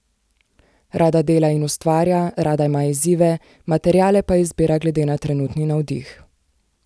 Rada dela in ustvarja, rada ima izzive, materiale pa izbira glede na trenutni navdih.